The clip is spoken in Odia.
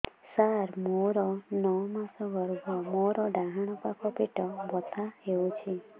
ସାର ମୋର ନଅ ମାସ ଗର୍ଭ ମୋର ଡାହାଣ ପାଖ ପେଟ ବଥା ହେଉଛି